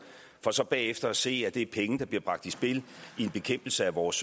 for så bagefter at se at det er penge der bliver bragt i spil i en bekæmpelse af vores